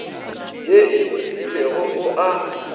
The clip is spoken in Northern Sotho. ye e fetilego o a